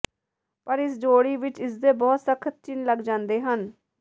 ਪਰ ਇਸ ਜੋੜੀ ਵਿੱਚ ਇਸਦੇ ਬਹੁਤ ਸਖਤ ਚਿੰਨ੍ਹ ਲੱਗ ਜਾਂਦੇ ਹਨ